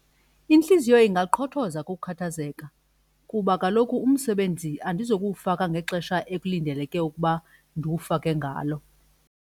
Intliziyo ingaqhothoza kukukhathazeka kuba kaloku umsebenzi andizokuwufaka ngexesha ekulindeleke ukuba ndiwufake ngalo.